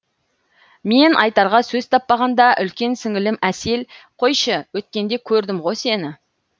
мен айтарға сөз таппағанда үлкен сіңілім әсел қойшы өткенде көрдім ғо сені